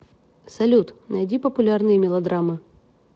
салют найди популярные мелодрамы